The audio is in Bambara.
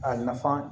A nafa